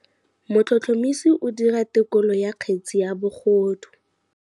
Motlhotlhomisi o dira têkolô ya kgetse ya bogodu.